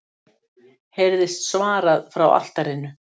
heyrist svarað frá altarinu.